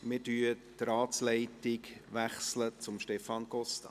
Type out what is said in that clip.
Wir wechseln die Ratsleitung zu Stefan Costa.